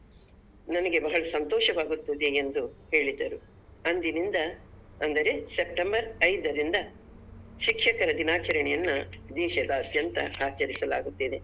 ನನಗೆ ಬಹಳ ಸಂತೋಷವಾಗುತ್ತದೆ ಎಂದು ಹೇಳಿದರು ಅಂದಿನಿಂದ ಅಂದರೆ September ಐದರಿಂದ ಶಿಕ್ಷಕರ ದಿನಾಚರಣೆಯನ್ನ ದೇಶದಾದ್ಯಂತ ಆಚರಿಸಲಾಗುತ್ತಿದೆ.